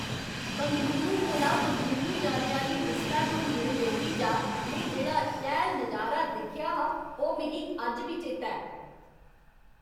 बंगलुरु कोला मंगलुरु जाने आह्ली विस्टाडोम रेलगड्डी चा में जेह्ड़ा शैल नज़ारा दिक्खेआ हा, ओह् मिगी अज्ज बी चेता ऐ।